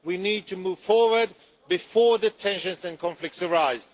We need to move forward before the tensions and conflicts arise.